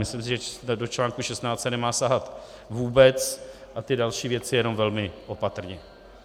Myslím si, že do článku 16 se nemá sahat vůbec a ty další věci jenom velmi opatrně.